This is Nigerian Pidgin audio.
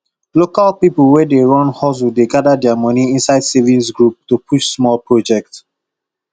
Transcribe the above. local people wey dey run hustle dey gather their money inside savings group to push small project